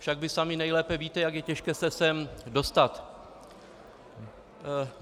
Však vy sami nejlépe víte, jak je těžké se sem dostat.